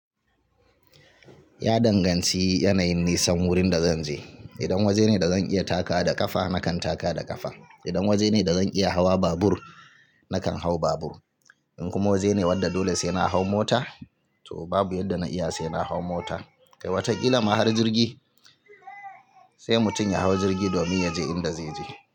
Ya danganci yanayin nisan wurin da zan je. Idan waje ne da zan iya takawa da ƙafa, nakan taka da ƙafa. Idan waje ne da zan iya hawa babur, nakan hau babur. In kuma waje ne wadda dole sai na hau mota, to babu yadda na iya sai na hau mota. Kai wataƙila ma har jirgi, sai mutum ya hau jirgi domin ya je inda zai je.